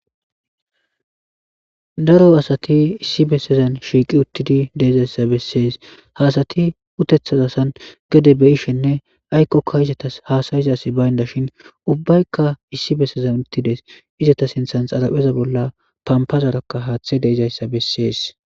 daro asati issi bessezan shiiqi uttidi deizayssa bessees haasati utethaza san gede be ishenne aykkokka izatas haasayizas baynda shin ubbaykka issi bessezan uttides izata sinthan xalapheza bolla pampazarakka haaththe deizayssa bessees